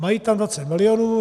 Mají tam 20 mil.